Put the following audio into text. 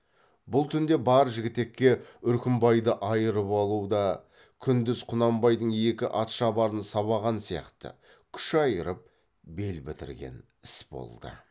бұл түнде бар жігітекке үркімбайды айырып алу да күндіз құнанбайдың екі атшабарын сабаған сияқты күш айырып бел бітірген іс болды